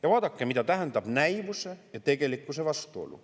Ja vaadake, mida tähendab näivuse ja tegelikkuse vastuolu.